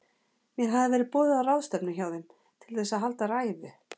Mér hafði verið boðið á ráðstefnu hjá þeim, til þess að halda ræðu.